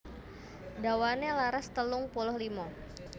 Dawané laras telung puluh limo